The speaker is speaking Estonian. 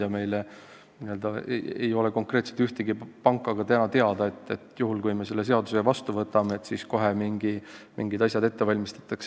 Ja meile ei ole ka konkreetselt teada ühtegi panka, kes juhul, kui me selle seaduse vastu võtame, kohe mingid sammud ette valmistab.